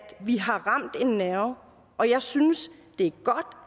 vi har ramt en nerve og jeg synes det